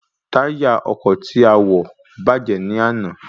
Táyà ọkọ̀ tí a wọ̀ bàjẹ́ ní àná